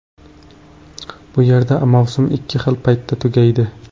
Bu yerda mavsum ikki xil paytda tugaydi.